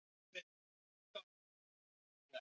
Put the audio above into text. Mér finnst hálf-kjánalegt að láta svona.